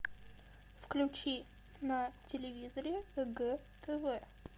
включи на телевизоре егэ тв